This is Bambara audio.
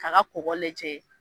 Ka ka kɔkɔ lajɛ.